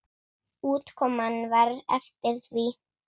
Útkoman var eftir því.